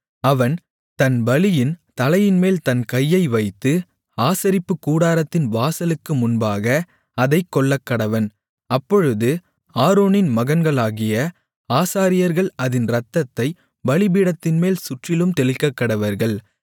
அவன் தன் பலியின் தலைமேல் தன் கையை வைத்து ஆசரிப்புக்கூடாரத்தின் வாசலுக்கு முன்பாக அதைக் கொல்லக்கடவன் அப்பொழுது ஆரோனின் மகன்களாகிய ஆசாரியர்கள் அதின் இரத்தத்தைப் பலிபீடத்தின்மேல் சுற்றிலும் தெளிக்கக்கடவர்கள்